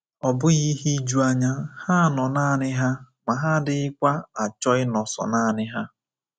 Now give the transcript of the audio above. Ọ bụghị ihe ijuanya, ha nọ nanị ha ma ha adịghịkwa achọ ịnọ sọ nanị ha.